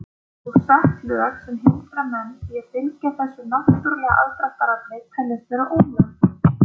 Og sett lög sem hindra menn í að fylgja þessu náttúrulega aðdráttarafli teljast vera ólög.